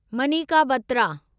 Manika Batra